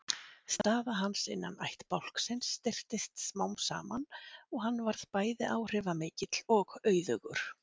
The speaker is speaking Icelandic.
Staða hans innan ættbálksins styrktist smám saman og hann varð bæði áhrifamikill og auðugur.